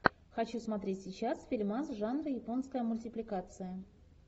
хочу смотреть сейчас фильмас жанра японская мультипликация